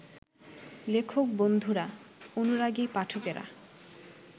লেখক-বন্ধুরা, অনুরাগী পাঠকেরা